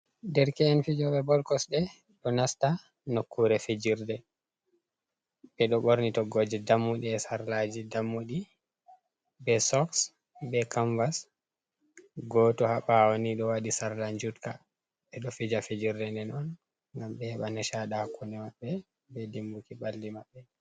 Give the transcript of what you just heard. Ɗerke’en fijo ɓe bolkosde do nasta nokkure fijirde be do borni toggoje dammudi e sarlaji be soks be kamvas gotu ha bawo ni do wadi sarla jutka be do fija fijirde nden on gam ɓe heɓa nishaɗi hakkune maɓɓe be dimbuki balli maɓɓe.